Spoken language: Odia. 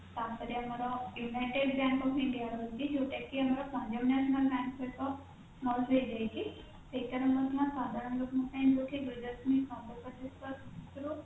ତାପରେ ଆମର united bank of india ର ରହିଛି ଯୋଉଟା କି ଆମର punjab national bank ସହିତ merge ହେଇଯାଇଛି ସେଇଟାରେ ହେଲା ସାଧାରଣ ଲୋକଙ୍କ ପାଇଁ ଦୁଇ ଦଶମିକ ପନ୍ଦର ପ୍ରତିଶତ ରୁ